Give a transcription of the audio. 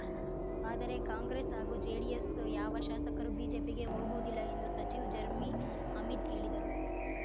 ಆದರೆ ಕಾಂಗ್ರೆಸ್‌ ಹಾಗೂ ಜೆಡಿಎಸ್‌ ಯಾವ ಶಾಸಕರು ಬಿಜೆಪಿಗೆ ಹೋಗುವುದಿಲ್ಲ ಎಂದು ಸಚಿವ್ ಜರ್ಮೀ ಅಹ್ಮದ್‌ ಹೇಳಿದರು